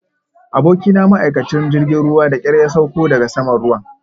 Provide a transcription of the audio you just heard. Abokina ma'aikacin jirgin ruwa da ƙyar ya sauko daga saman ruwan